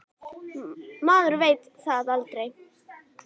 Maður veit það aldrei.